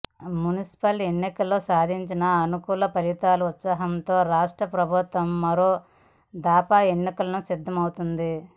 municipal ఎన్నికల్లో సాధించిన అనుకూల ఫలితాల ఉత్సాహంతో రాష్ట్ర ప్రభుత్వం మరో దఫా ఎన్నికలకు సిద్ధమైంది